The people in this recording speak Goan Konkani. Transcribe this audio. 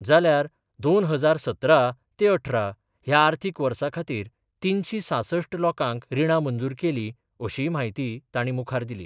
जाल्यार दोन हजार सतरा ते अठरा ह्या आर्थीक वर्सा खातीर तिनशी सांसष्ठ लोकांक रिणां मंजूर केलीं अशीय माहिती तांणी मुखार दिली.